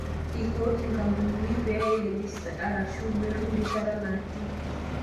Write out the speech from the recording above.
Eikooki nkampunini pee eirejista arashu metum rishat naati